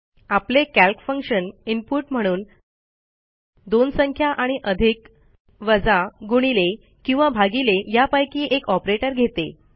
आपले calc function input म्हणून दोन संख्या आणि अधिक वजा गुणिले किंवा भागिले यापैकी एक ऑपरेटर घेते